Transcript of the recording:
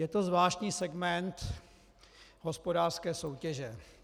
Je to zvláštní segment hospodářské soutěže.